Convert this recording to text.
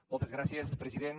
moltes gràcies president